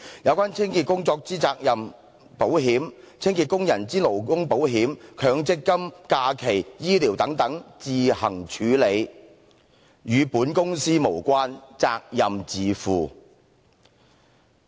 有關清潔工作之責任保險、清潔工人之勞工保險、強積金、假期、醫療等等，自行處理，與本公司()無關，責任自負。